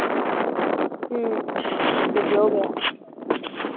উম সেইফালেও বেয়া